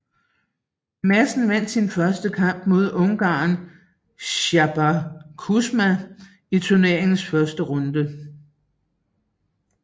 Madsen vandt sin første kamp mod ungareren Csaba Kuzma i turneringens første runde